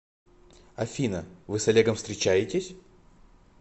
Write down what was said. афина вы с олегом встречаетесь